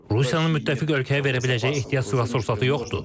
Rusiyanın müttəfiq ölkəyə verə biləcəyi ehtiyat sursatı yoxdur.